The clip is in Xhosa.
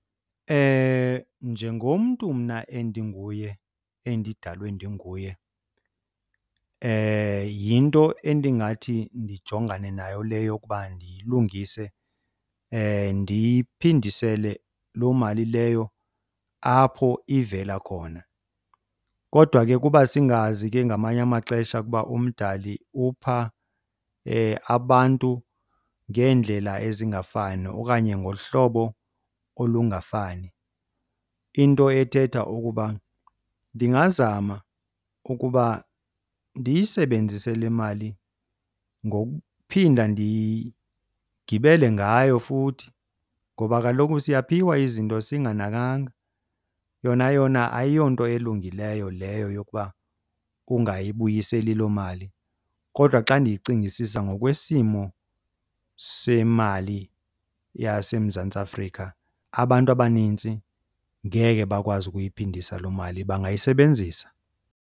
Njengomntu mna endinguye endidalwe ndinguye, yinto endingathi ndijongane nayo le yokuba ndiyilungise ndiyiphindisele loo mali leyo apho ivela khona. Kodwa ke kuba singazi ke ngamanye amaxesha ukuba uMdali upha abantu ngeendlela ezingafani okanye ngohlobo olungafani. Into ethetha ukuba ndingazama ukuba ndiyisebenzise le mali ngokuphinda ndigibele ngayo futhi ngoba kaloku siyaphiwa izinto singanakanga. Yona yona ayiyonto elungileyo leyo yokuba ungayibuyiseli loo mali, kodwa xa ndiyicingisisa ngokwesimo semali yaseMzantsi Afrika abantu abanintsi ngeke bakwazi ukuyiphindisa loo mali bangayisebenzisa.